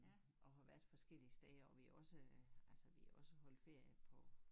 Og har været forskellige steder og vi har også altså vi har også holdt ferie på